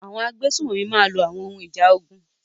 Àwọn agbésùnmọ̀mí máa lo àwọn ohun ìjà ogun.